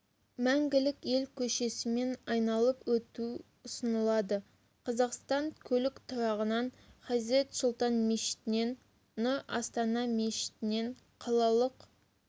мәңгілік ел көшесімен айналыр өту ұсынылады қазақстан көлік тұрағынан хазрет сұлтан мешітінен нұр астана мешітінен қалалық